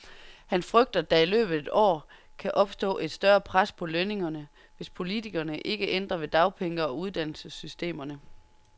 Han frygter, at der i løbet af et år kan opstå et større pres på lønningerne, hvis politikerne ikke ændrer ved dagpenge og uddannelsessystemerne.